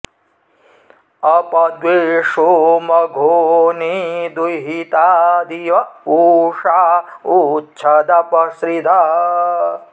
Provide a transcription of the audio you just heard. अप॒ द्वेषो॑ म॒घोनी॑ दुहि॒ता दि॒व उ॒षा उ॑च्छ॒दप॒ स्रिधः॑